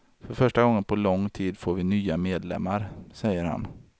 För första gången på lång tid får vi nya medlemmar, säger han.